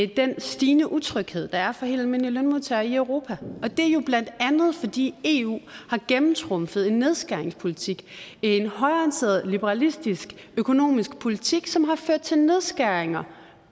den stigende utryghed der er for helt almindelige lønmodtagere i europa det er jo bla fordi eu har gennemtrumfet en nedskæringspolitik en højreorienteret liberalistisk økonomisk politik som har ført til nedskæringer